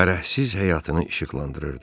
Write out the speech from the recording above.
Fərəhsiz həyatını işıqlandırırdı.